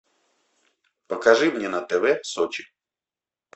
покажи мне на тв сочи